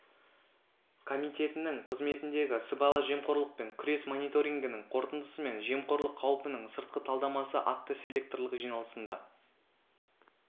комитетінің қызметіндегі сыбайлас жемқорлықпен күрес мониторингінің қорытындысы мен жемқорлық қаупінің сыртқы талдамасы атты селекторлық жиналысында